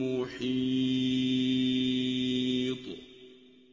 مُّحِيطٌ